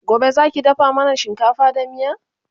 Gobe Zaki dafa mana shinkafa da miya?